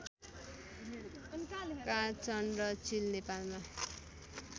काँधचन्द्र चील नेपालमा